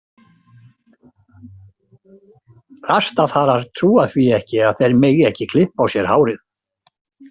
Rastafarar trúa því ekki að þeir megi ekki klippa á sér hárið.